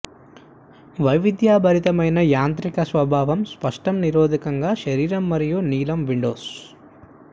వైవిధ్యభరితమైన యాంత్రిక స్వభావం నష్టం నిరోధకత శరీరం మరియు నీలం విండోస్